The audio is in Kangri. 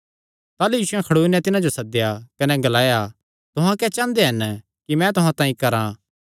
ताह़लू यीशुयैं खड़ोई नैं तिन्हां जो सद्देया कने ग्लाया तुहां क्या चांह़दे हन कि मैं तुहां तांई करां